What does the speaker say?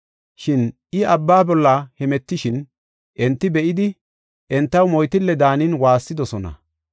Shin I abba bolla hemetishin, enti be7idi, entaw moytille daanin waassidosona.